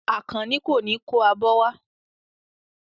Àkànní kò ní kó abọ́ wá.